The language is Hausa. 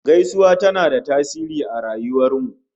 Gaisuwa tana da tasiri a rayuwar mu